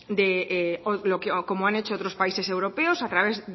de o como han hecho otros países europeos a través